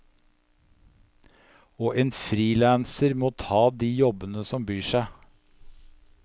Og en frilanser må ta de jobbene som byr seg.